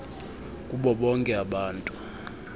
kubo bonke abantu